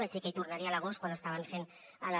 vaig dir que hi tornaria a l’agost quan estaven fent la